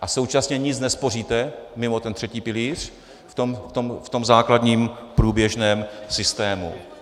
A současně nic nespoříte mimo ten třetí pilíř v tom základním průběžném systému.